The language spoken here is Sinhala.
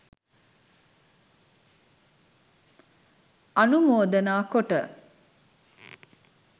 අනුමෝදනා කොට